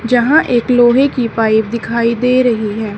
जहां एक लोहे की पाइप दिखाई दे रही है।